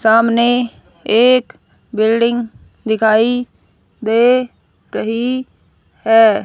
सामने एक बिल्डिंग दिखाई दे रही है।